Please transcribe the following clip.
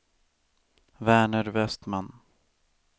Verner Vestman